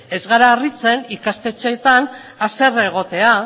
ez gara harritzen ikastetxeetan haserre egotea